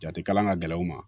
Jate kalan ka gɛlɛn u ma